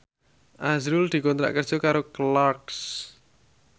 azrul dikontrak kerja karo Clarks